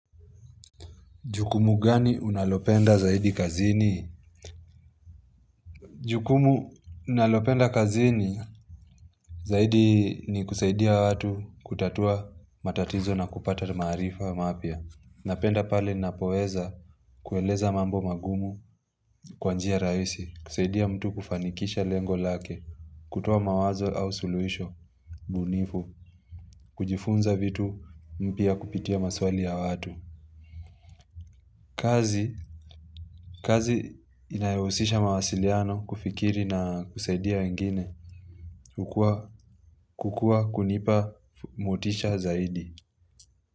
Jukumu gani unalopenda zaidi kazini? Jukumu ninalopenda kazini zaidi ni kusaidia watu kutatua matatizo na kupata maarifa mapya. Napenda pale ninapoweza kueleza mambo magumu kwa njia rahisi. Kusaidia mtu kufanikisha lengo lake. Kutoa mawazo au suluisho, bunifu. Kujifunza vitu mpia kupitia maswali ya watu. Kazi inayohusisha mawasiliano kufikiri na kusaidia wengine kukua kunipa motisha zaidi.